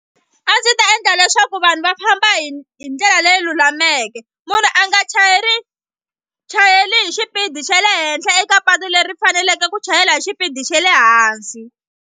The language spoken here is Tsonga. A ndzi ta endla leswaku vanhu va famba hi hi ndlela leyi lulameke munhu a nga chayeri chayeli hi xipidi xa le henhla eka patu leri faneleke ku chayela hi xipidi xa le hansi.